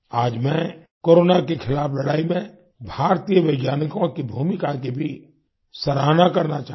आज मैं कोरोना के खिलाफ लड़ाई में भारतीय वैज्ञानिकों की भूमिका की भी सराहना करना चाहूँगा